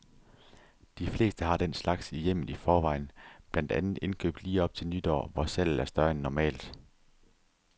De fleste har den slags i hjemmet i forvejen, blandt andet indkøbt lige op til nytår, hvor salget er større end normalt.